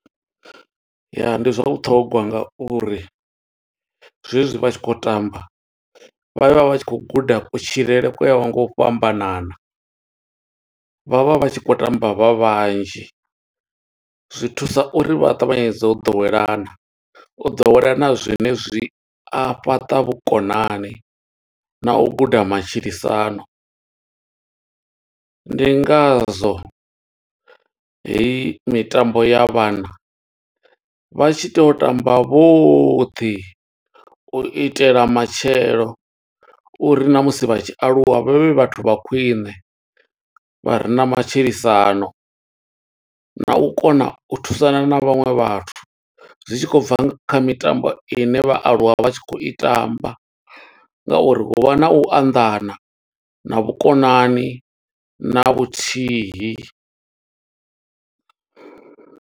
Ya, ndi zwa vhuṱhogwa nga uri zwe zwi vha tshi khou tamba, vha vha vha tshi khou guda kutshilele kwa yaho nga u fhambanana. Vha vha vha tshi khou tamba vha vhanzhi, zwi thusa uri vha ṱavhanyedze u ḓowelana. U ḓowelana zwine zwi a fhaṱa vhukonani na u guda matshilisano. Ndi nga zwo heyi mitambo ya vhana, vha tshi tea u tamba vhaṱhe u itela matshelo uri na musi vha tshi aluwa vha vhe vhathu vha khwiṋe, vha re na matshilisano. Na u kona u thusana na vhaṅwe vhathu, zwi tshi khou bva kha mitambo ine vha aluwa vha tshi khou i tamba nga uri hu vha na u anḓana, na vhukonani na vhuthihi.